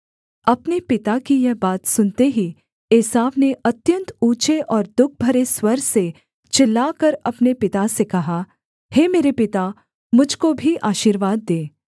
अपने पिता की यह बात सुनते ही एसाव ने अत्यन्त ऊँचे और दुःख भरे स्वर से चिल्लाकर अपने पिता से कहा हे मेरे पिता मुझ को भी आशीर्वाद दे